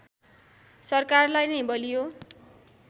सरकारलाई नै बलियो